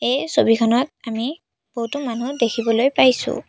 এই ছবিখনত আমি বহুতো মানুহ দেখিবলৈ পাইছোঁ।